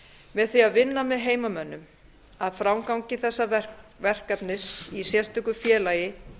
með því að vinna með heimamönnum að framgangi þessa verkefnis í sérstöku félagi